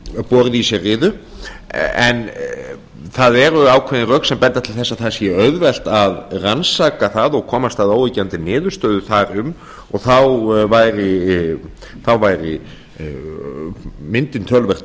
borið í sér riðu en það eru ákveðin rök sem benda til þess að það sé auðvelt að rannsaka það og komast að óyggjandi niðurstöðu þar um og þá væri myndin töluvert